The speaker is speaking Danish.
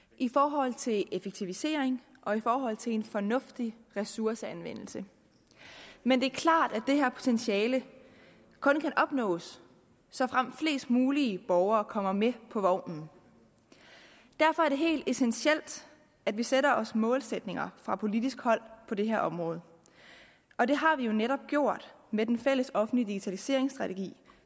i forhold til effektivisering og i forhold til en fornuftig ressourceanvendelse men det er klart at det her potentiale kun kan opnås såfremt flest mulige borgere kommer med på vognen derfor er det helt essentielt at vi sætter os målsætninger fra politisk hold på det her område og det har vi netop gjort med den fælles offentlige digitaliseringsstrategi